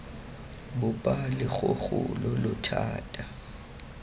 bopa logogo lo lo thata